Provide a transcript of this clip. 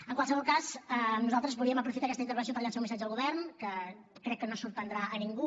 en qualsevol cas nosaltres volíem aprofitar aquesta intervenció per llançar un missatge al govern que crec que no sorprendrà a ningú